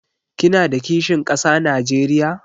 Kina da kishin kasa Najeriya?